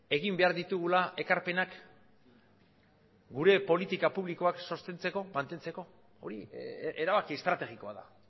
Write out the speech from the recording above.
egin behar ditugula ekarpenak gure politika publikoak sostengatzeko mantentzeko hori erabaki estrategikoa da